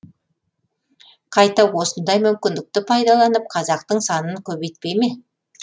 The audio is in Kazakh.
қайта осындай мүмкіндікті пайдаланып қазақтың санын көбейтпей ме